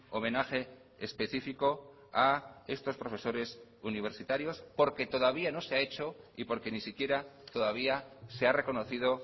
homenaje específico a estos profesores universitarios porque todavía no se ha hecho y porque ni siquiera todavía se ha reconocido